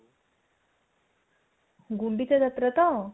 ଗୁଣ୍ଡିଚା ଯାତ୍ରା ତ